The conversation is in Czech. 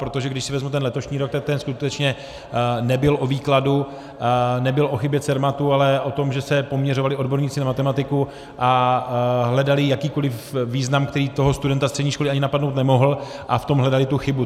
Protože když si vezmu ten letošní rok, tak ten skutečně nebyl o výkladu, nebyl o chybě Cermatu, ale o tom, že se poměřovali odborníci na matematiku a hledali jakýkoliv význam, který toho studenta střední školy ani napadnout nemohl, a v tom hledali tu chybu.